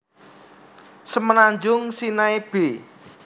Semenanjung Sinai b